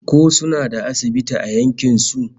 Ko suna da asibiti a yankin su?